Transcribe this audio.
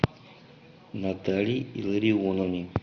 наталье илларионовне